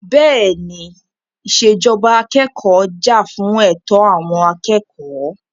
Bẹ́ẹ̀ni, ìṣèjọba akẹ́kọ̀ọ́ jà fún ẹ̀tọ́ àwọn akẹ́kọ̀ọ́.